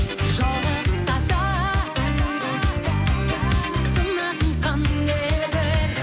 жолықса да сынатын сан небір